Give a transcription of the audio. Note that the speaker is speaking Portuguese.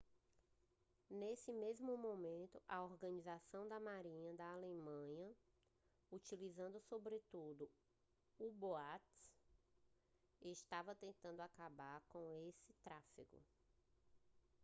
nesse mesmo momento a organização da marinha da alemanha utilizando sobretudo u-boats estava tentando acabar com esse tráfego